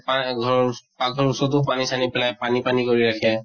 পা ঘৰ পাক্ঘৰৰ ওচৰতো পানী চানী পেলায়, পানী পানী কৰি ৰাখে।